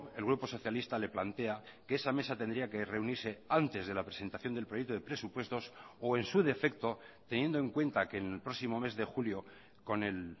el grupo socialista le plantea que esa mesa tendría que reunirse antes de la presentación del proyecto de presupuestos o en su defecto teniendo en cuenta que en el próximo mes de julio con el